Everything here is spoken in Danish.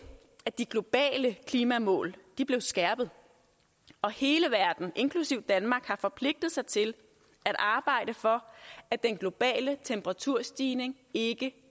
at de globale klimamål blev skærpet og hele verden inklusive danmark har forpligtet sig til at arbejde for at den globale temperaturstigning ikke